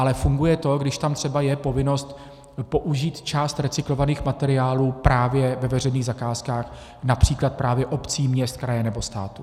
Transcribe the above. Ale funguje to, když tam třeba je povinnost použít část recyklovaných materiálů právě ve veřejných zakázkách například právě obcí, měst, kraje, nebo státu.